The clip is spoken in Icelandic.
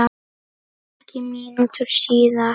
Ekki mínútu síðar